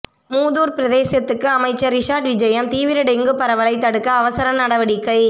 மூதூர் பிரதேசத்துக்கு அமைச்சர் றிஷாட் விஜயம் தீவிர டெங்கு பரவலைத் தடுக்க அவசர நடவடிக்கை